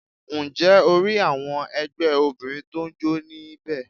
Ǹ jẹ́ o rí àwọn ẹgbẹ́ Obìnrin tó n jó ní bẹ̀